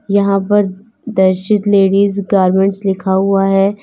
यहां पर दर्शित लेडीज गारमेंट लिखा हुआ है।